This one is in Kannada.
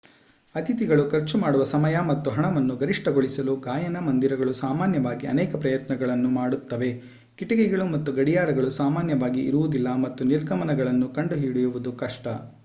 ಅತಿಥಿಗಳು ಖರ್ಚು ಮಾಡುವ ಸಮಯ ಮತ್ತು ಹಣವನ್ನು ಗರಿಷ್ಠಗೊಳಿಸಲು ಗಾಯನ ಮoದಿರಗಳು ಸಾಮಾನ್ಯವಾಗಿ ಅನೇಕ ಪ್ರಯತ್ನಗಳನ್ನು ಮಾಡುತ್ತವೆ. ಕಿಟಕಿಗಳು ಮತ್ತು ಗಡಿಯಾರಗಳು ಸಾಮಾನ್ಯವಾಗಿ ಇರುವುದಿಲ್ಲ ಮತ್ತು ನಿರ್ಗಮನಗಳನ್ನು ಕಂಡುಹಿಡಿಯುವುದು ಕಷ್ಟ